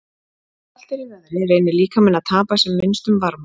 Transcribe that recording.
Þegar kalt er í veðri reynir líkaminn að tapa sem minnstum varma.